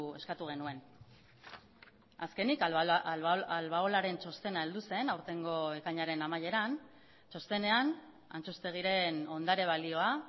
eskatu genuen azkenik albaolaren txostena heldu zen aurtengo ekainaren amaieran txostenean antxustegiren ondare balioa